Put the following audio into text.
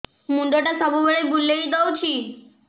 ମୁଣ୍ଡଟା ସବୁବେଳେ ବୁଲେଇ ଦଉଛି